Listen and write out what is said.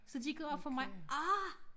Så det gik op for mig ah